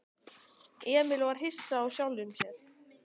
Emil var hissa á sjálfum sér.